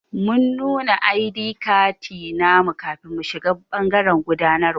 Mun nuna i.d katti namu kafin mu shiga bangaren gudanarwa.